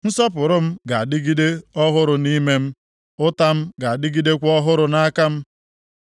Nsọpụrụ m ga-adịgide ọhụrụ nʼime m, ụta m ga-adịgidekwa ọhụrụ nʼaka m.’